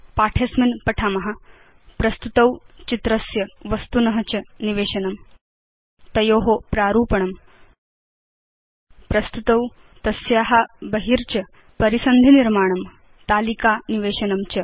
पाठे अस्मिन् पठाम प्रस्तुतौ चित्रस्य वस्तुन च निवेशनं तयो प्रारूपणं प्रस्तुतौ तस्या बहि च परिसन्धिनिर्माणं तालिका निवेशनं च